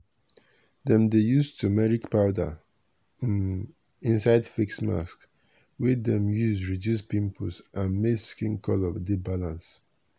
dem dey use turmeric powder um inside face mask wey dem dey use reduce pimples and make skin color dey balance.